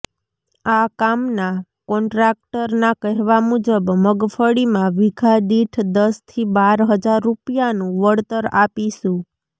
આ કામના કોન્ટ્રાક્ટરના કહેવા મુજબ મગફ્ળીમાં વિઘા દીઠ દસથી બાર હજાર રૃપિયાનું વળતર આપીશું